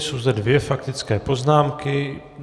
Jsou zde dvě faktické poznámky.